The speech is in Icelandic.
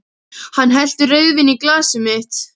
Hann hellti rauðvíni í glasið mitt.